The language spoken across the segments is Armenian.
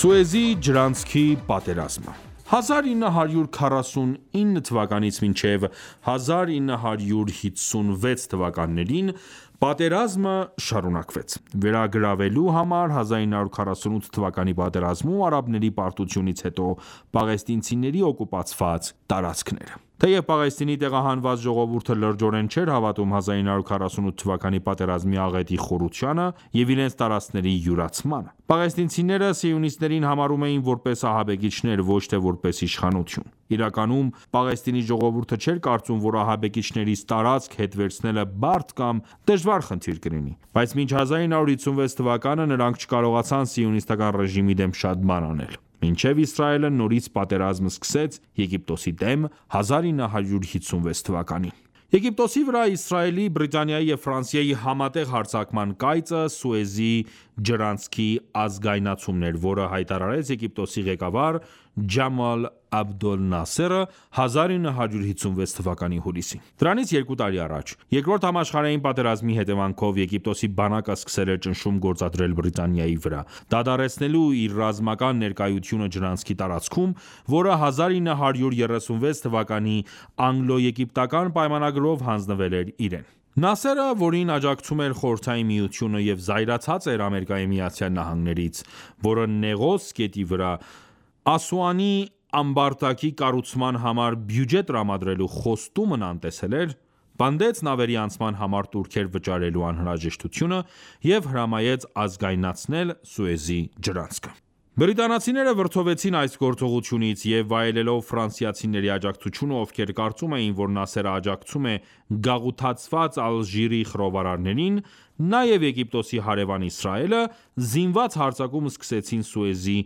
Սուեզի ջրանցքի պատերազմը 1949-1956 թվականներին պատերազմը շարունակվեց, վերագրավելու համար 1948 թվականի պատերազմում արաբների պարտությունից հետո պաղեստինցիների օկուպացված տարածքները ։Թեև Պաղեստինի տեղահանված ժողովուրդը լրջորեն չէր հավատում 1948 թվականի պատերազմի աղետի խորությանը և իրենց տարածքների յուրացմանը։ Պաղեստինցիները սիոնիստներին համարում էին որպես ահաբեկիչներ, ոչ թե որպես իշխանություն։ Իրականում Պաղեստինի ժողովուրդը չէր կարծում, որ ահաբեկիչներից տարածք հետ վերցնելը բարդ կամ դժվար խնդիր կլինի:Բայց մինչ 1956 թվականը նրանք չկարողացան սիոնիստական ռեժիմի դեմ շատ բան անել: Մինչև Իսրայելը նորից պատերազմ սկսեց Եգիպտոսի դեմ 1956 թվականին: Եգիպտոսի վրա Իսրայելի, Բրիտանիայի և Ֆրանսիայի համատեղ հարձակման կայծը Սուեզի ջրանցքի ազգայնացումն էր, որը հայտարարեց Եգիպտոսի ղեկավար Ջամալ Աբդոլ Նասերը 1956 թվականի հուլիսին։ Դրանից երկու տարի առաջ՝ Երկրորդ համաշխարհային պատերազմի հետևանքով, Եգիպտոսի բանակը սկսել էր ճնշում գործադրել Բրիտանիայի վրա՝ դադարեցնելու իր ռազմական ներկայությունը ջրանցքի տարածքում, որը 1936 թվականի անգլո-եգիպտական պայմանագրով հանձնվել էր իրեն: Նասերը, որին աջակցում էր Խորհրդային Միությունը և զայրացած էր ԱՄՆ-ից, որը Նեղոս գետի վրա Ասուանի ամբարտակի կառուցման համար բյուջե տրամադրելու խոստումն անտեսել էր, պնդեց նավերի անցման համար տուրքեր վճարելու անհրաժեշտությունը և հրամայեց ազգայնացնել Սուեզի ջրանցքը: Բրիտանացիները վրդովվեցին այս գործողությունից և վայելելով ֆրանսիացիների աջակցությունը, ովքեր կարծում էին, որ Նասերը աջակցում է գաղութացված Ալժիրի խռովարարներին ,նաև Եգիպտոսի հարևան Իսրայելը, զինված հարձակում սկսեցին Սուեզի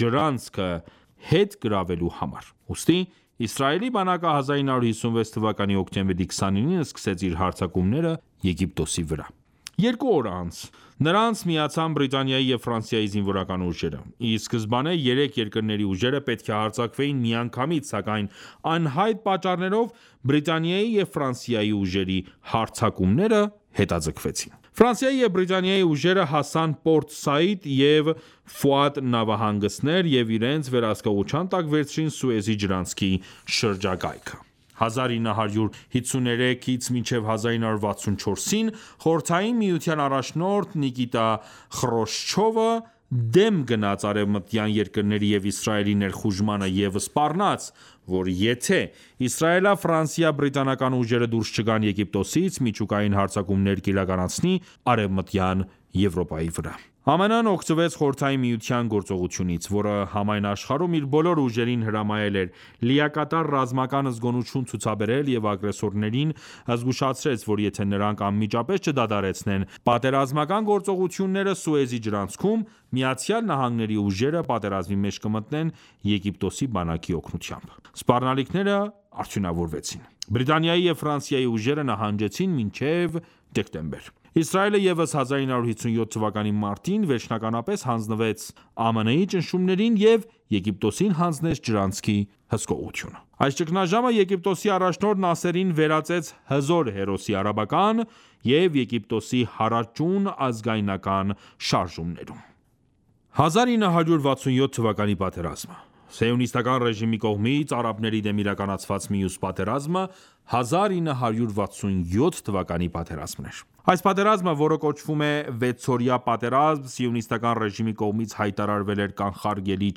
ջրանցքը հետ գրավելու համար։ Ուստի Իսրայելի բանակը 1956 թվականի հոկտեմբերի 29-ին սկսեց իր հարձակումները Եգիպտոսի վրա ։ Երկու օր անց նրանց միացան Բրիտանիայի և Ֆրանսիայի զինվորական ուժերը։ Ի սկզբանե երեք երկրների ուժերը պետք է հարձակվեին միանգամից, սակայն անհայտ պատճառներով Բրիտանիայի եւ Ֆրանսիայի ուժերի հարձակումները հետաձգվեցին։ Ֆրանսիայի և Բրիտանիայի ուժերը հասան Պորտ Սաիդ և Ֆուադ նավահանգստներ և իրենց վերահսկողության տակ վերցրին Սուեզի ջրանցքի շրջակայքը: 1953-1964-ին Խորհրդային միության առաջնորդ Նիկիտա Խրուշչովը դեմ գնաց արևմտյան երկրների և Իսրայելի ներխուժմանը և սպառնաց, որ եթե իսրայելա-ֆրանսիա-բրիտանական ուժերը դուրս չգան Եգիպտոսից միջուկային հարձակումներ կիրականացնի Արևմտյան Եվրոպայի վրա: ԱՄՆ-ն օգտվեց Խորհրդային Միության գործողությունից, որը համայն աշխարհում իր բոլոր ուժերին հրամայել էր լիակատար ռազմական զգոնություն ցուցաբերել և ագրեսորներին զգուշացրեց, որ եթե նրանք անմիջապես չդադարեցնեն պատերազմական գործողությունները Սուեզի ջրանցքում, ԱՄՆ-ի ուժերը պատերազմի մեջ կմտնեն Եգիպտոսի բանակի օգնությամբ։ Սպառնալիքները արդյունավորվեցին:Բրիտանիայի և ֆրանսիայի ուժերը նահանջեցին մինչև դեկտեմբեր: Իսրայելը ևս 1957 թվականի մարտին վերջնականապես հանձնվեց ԱՄՆ-ի ճնշումներին և Եգիպտոսին հանձնեց ջրանցքի հսկողությունը։ Այս ճգնաժամը Եգիպտոսի առաջնորդ Նասերին վերածեց հզոր հերոսի՝ արաբական և Եգիպտոսի հարաճուն ազգայնական շարժումներում: 1967 թվականի պատերազմը Սիոնիստական ռեժիմի կողմից արաբների դեմ իրականացված մյուս պատերազմը, 1967թվականի պատերազմն էր: Այս պատերազմը, որը կոչվում է վեցօրյա պատերազմ, սիոնիստական ռեժիմի կողմից հայտարարվել էր կանխարգելիչ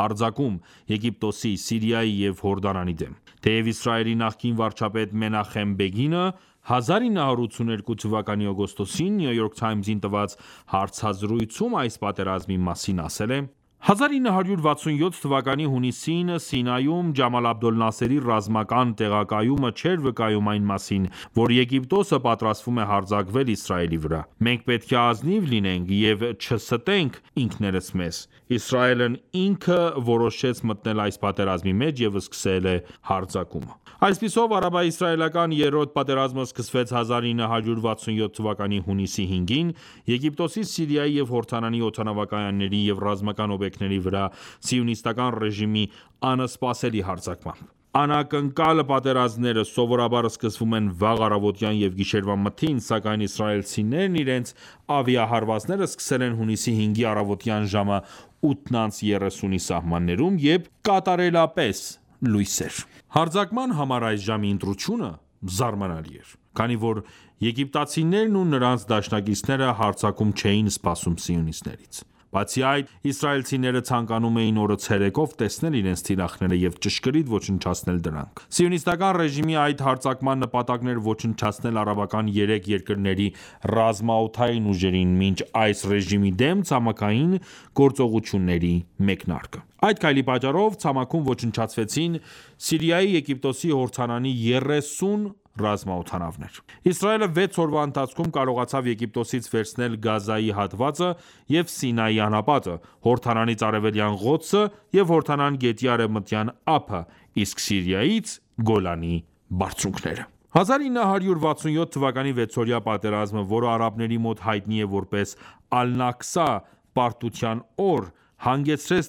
հարձակում ՝ Եգիպտոսի ,Սիրիայի և Հորդանանի դեմ: Թեև Իսրայելի նախկին վարչապետ Մենախեմ Բեգինը 1982 թվականի օգոստոսին New York Times-ին տված հարցազրույցում այս պատերազմի մասին ասել է.« 1967 թվականի հունիսին Սինայում Ջամալ Աբդոլ Նասերի ռազմական տեղակայումը չէր վկայում այն մասին, որ Եգիպտոսը պատրաստվում է հարձակվել Իսրայելի վրա։ Մենք պետք է ազնիվ լինենք և չստենք ինքներս մեզ։ Իսրայելն ինքը որոշեց մտնել այս պատերազմի մեջ և սկսել հարձակումը»։ Այսպիսով, արաբա-իսրայելական երրորդ պատերազմը սկսվեց 1967 թվականի հունիսի 5-ին՝ Եգիպտոսի, Սիրիայի և Հորդանանի օդանավակայանների և ռազմական օբյեկտների վրա սիոնիստական ռեժիմի անսպասելի հարձակմամբ: Անակնկալ պատերազմները սովորաբար սկսվում են վաղ առավոտյան և գիշերվա մթին, սակայն իսրայելցիներն իրենց ավիահարվածները սկսել են հունիսի 5-ի առավոտյան ժամը 8:30-ի սահմաններում, երբ կատարելապէս լույս էր ։ Հարձակման համար այս ժամի ընտրությունը զարմանալի էր, քանի որ եգիպտացիներն ու նրանց դաշնակիցները հարձակում չէին սպասում սիոնիստներից: Բացի այդ, իսրայելցիները ցանկանում էին օրը ցերեկով տեսնել իրենց թիրախները և ճշգրիտ ոչնչացնել դրանք։ Սիոնիստական ռեժիմի այս հարձակման նպատակն էր ոչնչացնել արաբական երեք երկրների ռազմաօդային ուժերին՝ մինչ այս ռեժիմի դեմ ցամաքային գործողությունների մեկնարկը։ Այդ քայլի պատճառով ցամաքում ոչնչացվեցին Սիրիայի, Եգիպտոսի և Հորդանանի 30 ռազմօդանավեր: Իսրայելը վեց օրվա ընթացքում կարողացավ Եգիպտոսից վերցնել Գազայի հատվածը և Սինայի անապատը, Հորդանանից՝ Արևելյան Ղոդսը և Հորդանան գետի Արևմտյան ափը, իսկ Սիրիայից՝ Գոլանի բարձունքները։ 1967 թվականի 6-օրյա պատերազմը, որը արաբների մոտ հայտնի է ,որպես «Ալ-Նակսա», հանգեցրեց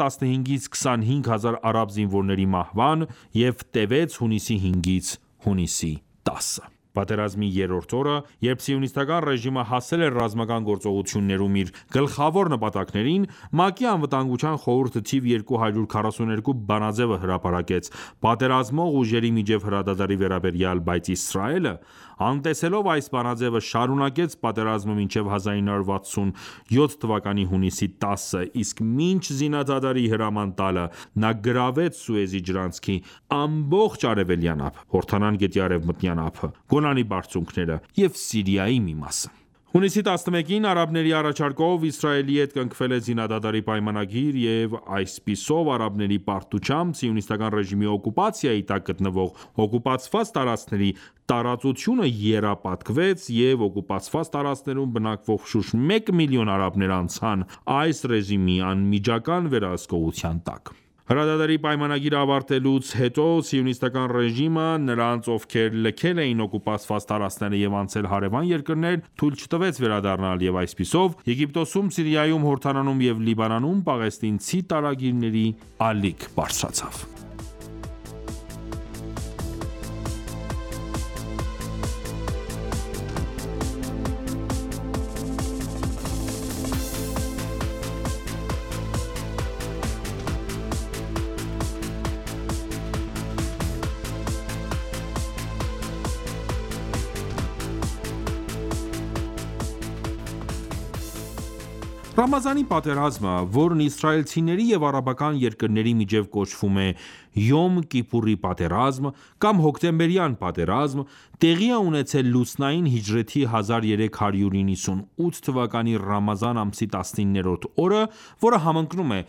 15-25 հազար արաբ զինվորների մահվան և տևեց հունիսի 5-ից 10-ը։ Պատերազմի երրորդ օրը, երբ սիոնիստական ռեժիմը հասել էր ռազմական գործողություններում իր գլխավոր նպատակներին, ՄԱԿ-ի Անվտանգության խորհուրդը թիվ 242 բանաձը հրապարակեց, պատերազմող ուժերի միջև հրադադարի վերաբերյալ, բայց Իսրայելը անտեսելով այս բանաձեւը շարունակեց պատերազմը մինչև 1967 թվականի հունիսի 10-ը, իսկ մինչ զինադադարի հրաման տալը նա գրավեց Սուեզի ջրանցքի ամբողջ արևելյան ափը, Հորդանան գետի արևմտյան ափը, Գոլանի բարձունքները և Սիրիայի մի մասը։ Հունիսի 11-ին արաբների առաջարկով Իսրայելի հետ կնքվել է զինադադարի պայմանագիր և այսպիսով արաբների պարտությամբ ,սիոնիստական ռեժիմի օկուպացիայի տակ գտնվող օկուպացված տարածքների տարածությունը եռապատկվեց և օկուպացված տարածքներում բնակվող շուրջ մեկ միլիոն արաբներ անցան այս ռեժիմի անմիջական վերահսկողության տակ։ Հրադադարի պայմանագիրը ավարտվելուց հետո ,սիոնիստական ռեժիմը ,նրանց ովքեր լքել էին օկուպացված տարածքները և անցել հարևան երկրներ ,թույլ չտվեց վերադառնալ և այսպիսով Եգիպտոսում, Սիրիայում ,Հորդանանում և Լիբանանում պաղեստինցի տարագիրների ալիք բարձրացավ: Ռամազանի պատերազմը Ռամազանի պատերազմը, որն իսրայելցիների և արաբական երկրների միջև կոչվում է «Յոմ Կիպուրի պատերազմ» կամ «Հոկտեմբերյան պատերազմ», տեղի է ունեցել լուսնային հիջրեթի 1398 թվականի Ռամազան ամսի 19-րդ օրը, որը համընկնում է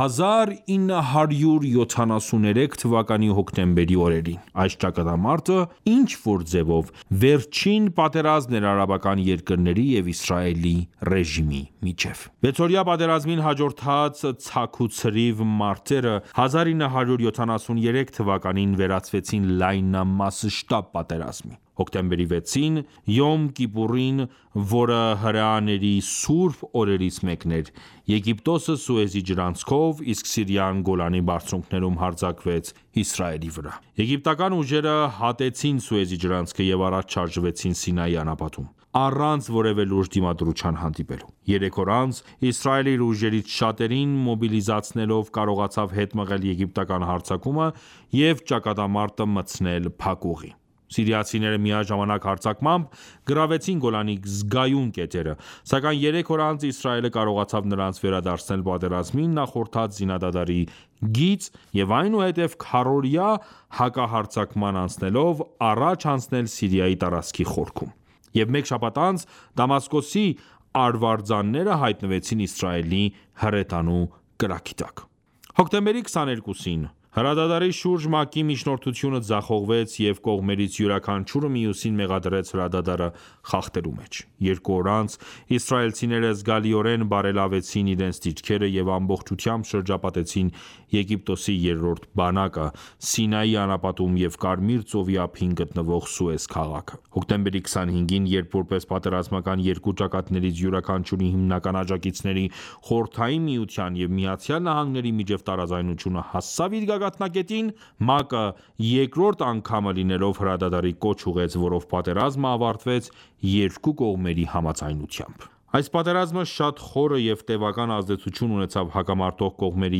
1973 թվականի հոկտեմբերի օրերին։ Այս ճակատամարտը ինչ որ ձևով վերջին պատերազմն էր արաբական երկրների և Իսրայելի ռեժիմի միջև։ Վեցօրյա պատերազմին հաջորդած ցաքուցրիվ մարտերը 1973 թվականին վերածվեցին լայնամասշտաբ պատերազմի։ Հոկտեմբերի 6-ին Յոմ Կիպուրին, որը հրեաների սուրբ օրերից մեկն էր, Եգիպտոսը Սուեզի ջրանցքով, իսկ Սիրիան Գոլանի բարձունքներում հարձակվեց Իսրայելի վրա: Եգիպտական ուժերը հատեցին Սուեզի ջրանցքը և առաջ շարժվեցին Սինայի անապատում՝ առանց որևէ լուրջ դիմադրության հանդիպելու։ Երեք օր անց Իսրայելը իր ուժերից շատերին մոբիլիզացնելով կարողացավ հետ մղել եգիպտական հարձակումը, և ճակատամարտը մտցնել փակուղի։ Սիրիացիները միաժամանակ հարձակմամբ գրավեցին Գոլանի զգայուն կետերը, սակայն երեք օր անց Իսրայելը կարողացավ նրանց վերադարձնել պատերազմին նախորդած զինադադարի գիծ և այնուհետև քառօրյա հակահարձակման անցնելով առաջ անցնել Սիրիայի տարածքի խորքում, և մեկ շաբաթ անց Դամասկոսի արվարձանները հայտնվեցին Իսրայելի հրետանու կրակի տակ։ Հոկտեմբերի 22-ին հրադադարի շուրջ ՄԱԿ-ի միջնորդությունը ձախողվեց, և կողմերից յուրաքանչյուրը մյուսին մեղադրեց հրադադարը խախտելու մեջ։ Երկու օր անց իսրայելցիները զգալիորեն բարելավեցին իրենց դիրքերը և ամբողջությամբ շրջապատեցին Եգիպտոսի երրորդ բանակը Սինայի անապատում և Կարմիր ծովի ափին գտնվող Սուեզ քաղաքը: Հոկտեմբերի 25-ին, երբ, որպես պատերազմական երկու ճակատներից յուրաքանչյուրի հիմնական աջակիցների՝ Խորհրդային Միության և Միացյալ Նահանգների միջև տարաձայնությունը հասավ իր գագաթնակետին, ՄԱԿ-ը երկրորդ անգամը լինելով հրադադարի կոչ ուղղեց, որով պատերազմը ավարտվեց երկու կողմերի համաձայնությամբ։ Այս պատերազմը շատ խորը և տեւական ազդեցություն ունեցավ հակամարտող կողմերի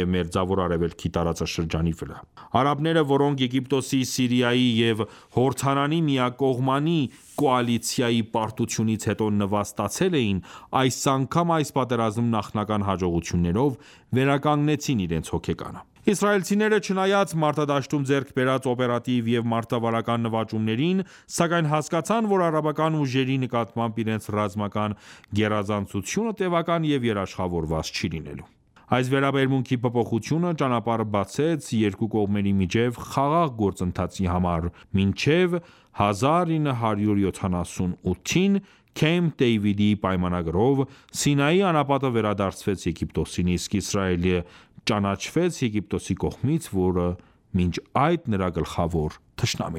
և Մերձավոր Արևելքի տարածաշրջանի վրա։ Արաբները ,որոնք Եգիպտոսի, Սիրիայի և Հորդանանի միակողմանի կոալիցիայի պարտությունից հետո նվաստացել էին, այս անգամ այս պատերազմում նախնական հաջողություններով, վերականգնեցին իրենց հոգեկանը: Իսրայելցիները, չնայած մարտադաշտում ձեռք բերած օպերատիվ և մարտավարական նվաճումներին, սակայն հասկացան, որ արաբական ուժերի նկատմամբ իրենց ռազմական գերազանցությունը տևական և երաշխավորված չի լինելու: Այս վերաբերմունքի փոփոխությունը ճանապարհ բացեց երկու կողմերի միջև խաղաղ գործընթացի համար ,մինչև 1978-ին Քեմփ Դեյվիդի պայմանագրով Սինայի անապատը վերադարձվեց Եգիպտոսին ,իսկ Իսրայելը ճանաչվեց Եգիպտոսի կողմից, որը մինչ այդ նրա գլխավոր թշնամին